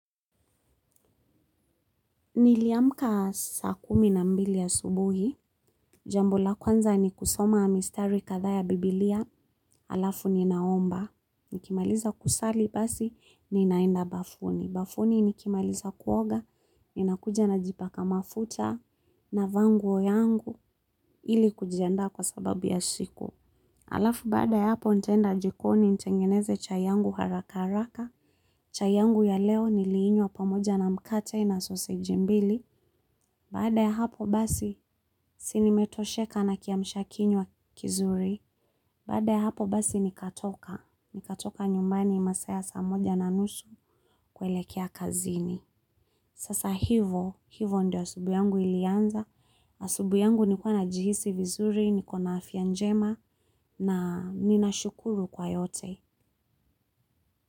Niliamka saa kumi na mbili asubuhi, jambo la kwanza ni kusoma mistari kadhaa ya biblia, alafu ninaomba, nikimaliza kusali basi, ninaenda bafuni, bafuni nikimaliza kuoga, ninakuja najipaka mafuta, navaa nguo yangu ili kujiandaa kwa sababu ya siku. Alafu baada ya hapo ntaenda jikoni nitengeneze chai yangu harakaraka, chai yangu ya leo niliinywa pamoja na mkate na soseji mbili, baada ya hapo basi si nimetosheka na kiamshakinywa kizuri, baada ya hapo basi nikatoka, nikatoka nyumbani masaa ya saa moja na nusu kuelekea kazini. Sasa hivo, ndio asubui yangu ilianza, asubui yangu nikuwa najihisi vizuri, niko na afya njema na ninashukuru kwa yote.